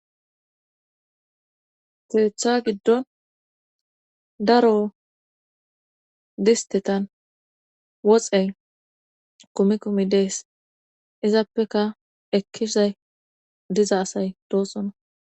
keeththa giddon daro distetan woxey kumi komi dees izappeka ekkizay diza asay doosona